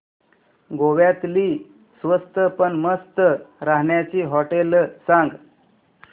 गोव्यातली स्वस्त पण मस्त राहण्याची होटेलं सांग